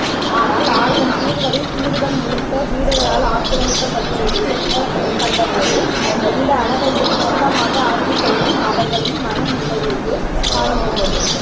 ஆனால் ஆயிரம் தீவுகளில் தீவுகள் முழுக்க வீடுகளால் ஆக்ரமிக்கப்பட்டிருக்கக் கண்டபோது எந்த அழகையும் சொந்தமாக ஆக்கிக்கொளும் அவர்களின் மனநிலையையே காணமுடிந்தது